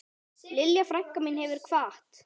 Lilja frænka mín hefur kvatt.